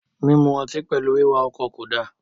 Minu ọtí pẹlú wiwà ọkọ ko da..